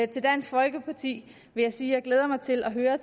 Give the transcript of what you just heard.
dansk folkeparti vil jeg sige at jeg glæder mig til at høre